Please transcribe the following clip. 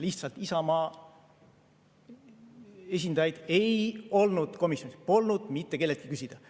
Lihtsalt Isamaa esindajaid ei olnud komisjonis, polnud mitte kelleltki küsida.